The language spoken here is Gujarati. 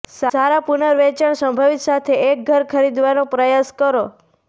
સારા પુનર્વેચાણ સંભવિત સાથે એક ઘર ખરીદવાનો પ્રયાસ કરો